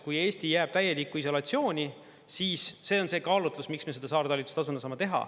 Kui Eesti jääb täielikku isolatsiooni, siis see on see kaalutlus, miks me seda saartalitlustasuna saame teha.